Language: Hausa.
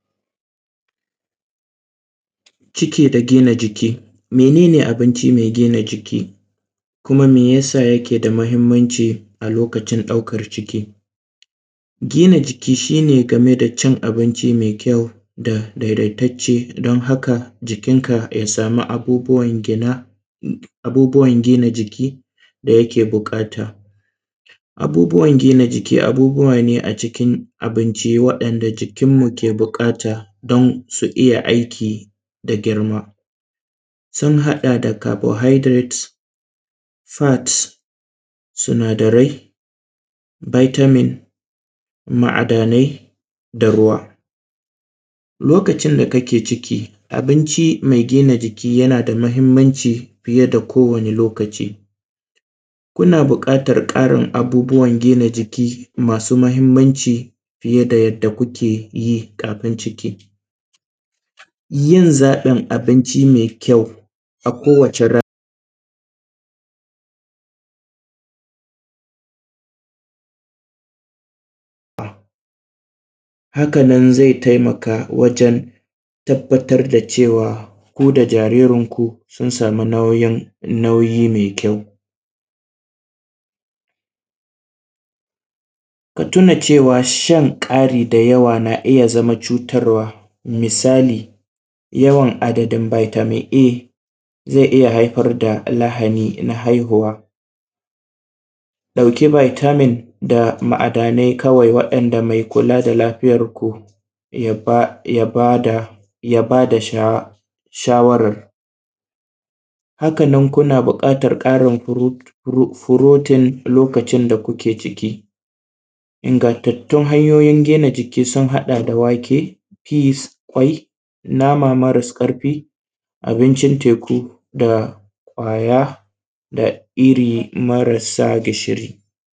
Ciki da gina jiki, mene ne abinci mai gina jiki kuma mai yasa yake da mahimmanci a lokacin ɗaukar ciki? Gina jiki shi ne game da cin abinci mai kyau da daidaitacce dan haka jikin ka ya samu abubuwan gina abubuwan gina jiki da yake buƙata, abubuwan gina jiki abubuwa ne a cikin abinci waɗanda jikin mu ke buƙata don su iya aiki da girma sun haɗa da “carbohydrate,” fats sinadarai, “vitamin”, ma`adanai, da ruwa lokacin da kake ciki abinci mai gina jiki yana da mahimmanci fiye da kowane lokaci, kuna buƙatar ƙarin abubuwan gina jiki masu mahimmanci fiye da yadda kuke yi kafin ciki, yin zaɓin abinci mai kyau a kowace rana haka nan zai taimaka wajen tabbatar da cewa ku da jiririn ku sun samu nauyin nauyi mai kyau ka tuna cewa shan ƙari da yawa na iya zama cutarwa misali yawan adadin vitamin A zai iya haifar da lahani na haihuwa ɗauki “vitamin” da ma`adanai kawai waɗanda mai kula da lafiyar ku ya ba ya bada ya ba da shawarar, haka nan kuna buƙatar ƙarin “pro protein” lokacin da kuke ciki, ingattantun hanyoyin gina jiki sun haɗa da wake, “pies,” kwai, nama maras ƙarfi, abincin teku, da ƙwaya da iri maras sa gishiri.